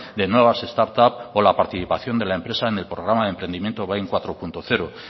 de nuevas startups o la participación de la empresa en el programa de emprendimiento bind cuatro punto cero